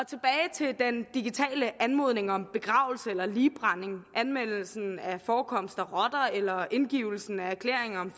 til den digitale anmodning om begravelse eller ligbrænding anmeldelse af forekomsten af rotter eller indgivelse af erklæringer om